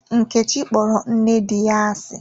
Nkechi kpọrọ nne di ya asị.